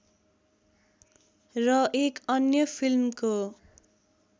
र एक अन्य फिल्मको